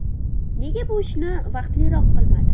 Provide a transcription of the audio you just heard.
Nega bu ishni vaqtliroq qilmadi?